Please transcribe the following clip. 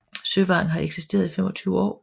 Søvang har eksisteret i 25 år